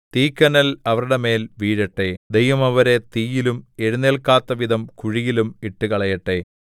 തീക്കനൽ അവരുടെ മേൽ വീഴട്ടെ ദൈവം അവരെ തീയിലും എഴുന്നേല്ക്കാത്തവിധം കുഴിയിലും ഇട്ടുകളയട്ടെ